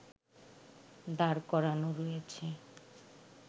দাঁড় করানো রয়েছে